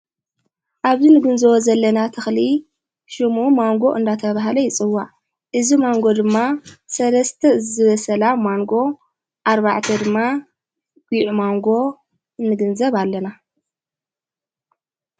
ኣብብ ንግዘቦ ዘለና ትኽሊ ሽሙ ማንጎ እንዳተብሃለ ይጽዋ እዝ ማንጎ ድማ ሠለስተ ዝበሰላ ማንጎ ኣርባዕተ ድማ ጕዕ ማንጎ ንግንዘብ ኣለና::